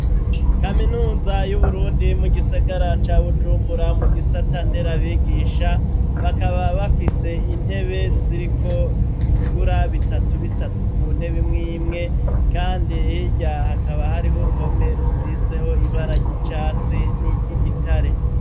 Kaminuza y'uburundi mu gisigara ca Bujumbura, mu gisata nderabigisha bakaba bafise intebe ziriko ibigura bitatu bitatu, ku ntebe Imwimwe kandi hirya hakaba hariho uruhome rusizeko ibara ry'icatsi n'iry'igitare.